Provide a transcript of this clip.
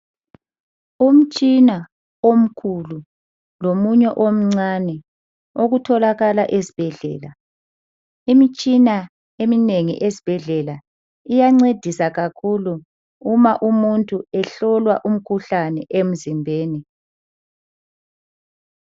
Umtshina omkhulu lomunye omncane okutholakala esibhedlela. Imitshina eminengi esibhedlela iyancedisa kakhulu uma umuntu ehlolwa umkhuhlane emzimbeni.